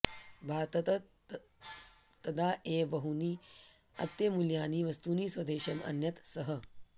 भारततः तदा एव बहूनि अत्यमूल्यानि वस्तूनि स्वदेशम् अनयत् सः